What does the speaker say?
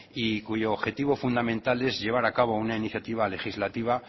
y cuyo objetivo fundamental es llevar a cabo una iniciativa legislativa